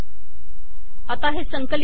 आता हे संकलित करु